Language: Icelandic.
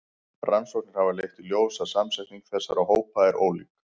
Rannsóknir hafa leitt í ljós að samsetning þessara hópa er ólík.